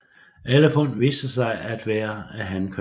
Alle fund viste sig at være af hankøn